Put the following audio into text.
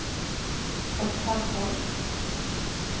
Gotthard Holst